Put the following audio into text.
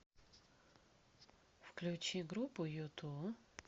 включи группу юту